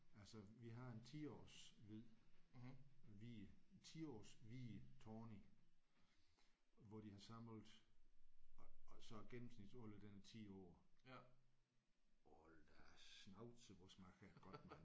Altså vi har en 10-års hvid hvid 10-års hvid Tawny hvor de har samlet så gennemsnitsalderen den er 10 år. Hold da schnauze hvor smagte den godt mand!